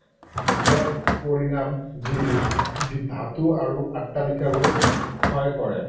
এক পৰিণাম যি ধাতু আৰু অট্টালিকাবোৰ ক্ষয় কৰে।